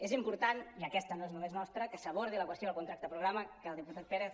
és important i aquesta no és només nostra que s’abordi la qüestió del contracte programa que el diputat pérez